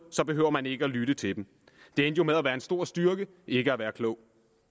behøver man ikke at lytte til dem det endte jo med at være en stor styrke ikke at være klog